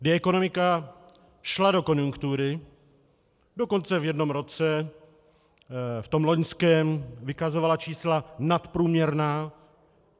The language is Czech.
Kdy ekonomika šla do konjunktury, dokonce v jednom roce, v tom loňském vykazovala čísla nadprůměrná.